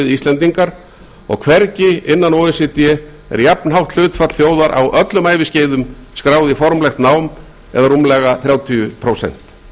íslendingar og hvergi innan o e c d er jafnhátt hlutfall þjóðar á öllum æviskeiðum skráð í formlegt nám eða rúmlega þrjátíu prósent